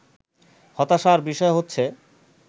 হতাশার বিষয় হচ্ছে